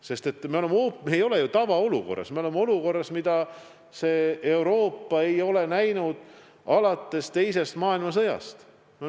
Sest me ei ole ju tavaolukorras, me oleme olukorras, mida Euroopa ei ole näinud alates teisest maailmasõjast.